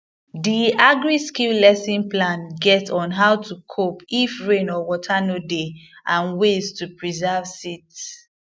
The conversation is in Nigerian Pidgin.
the agriskill lesson plan get on how to cope if rain or water no dey and ways to preserve seeds